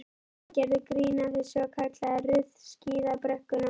Pabbi gerði grín að þessu og kallaði Ruth skíðabrekkuna.